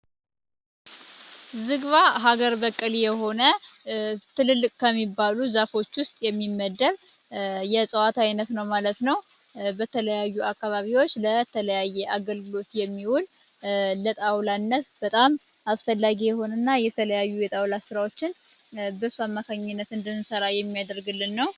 ዝግባ ሀገር በቀል የሆነ ትልልቅ ከሚባሉ ዛፎች ውስጥ የሚመደብ የእጽዋት ዓይነት ነው ማለት ነው በተለያዩ አካባቢዎች ለተለያየ አገልግሎት የሚውል ለጣውላነት በጣም አስፈላጊ የሆነና የተለያዩ የጣውላ ሥራዎችን መካኝነት እንድንሠራ የሚያደርግልን ነው።